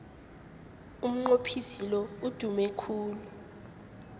umnqophisi lo udume khulu